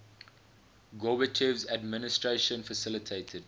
gorbachev's administration facilitated